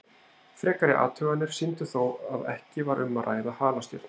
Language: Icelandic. Frekari athuganir sýndu þó að ekki var um að ræða halastjörnu.